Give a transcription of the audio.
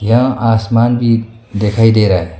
यह आसमान भी दिखाई दे रहा है।